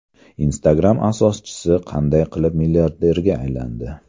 Instagram asoschisi qanday qilib milliarderga aylandi?